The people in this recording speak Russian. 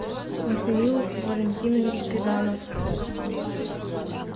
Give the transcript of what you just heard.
михаил валентинович педанов